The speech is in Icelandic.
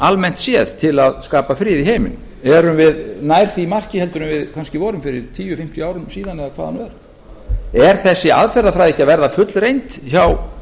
almennt séð til að skapa frið í heiminum erum við nær því marki en við kannski vorum fyrir tíu fimmtíu árum síðan eða hvað það nú er er þessi aðferðafræði ekki að verða fullreynd hjá